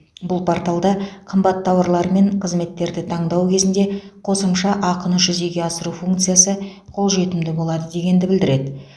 бұл порталда қымбат тауарлар мен қызметтерді таңдау кезінде қосымша ақыны жүзеге асыру функциясы қолжетімді болады дегенді білдіреді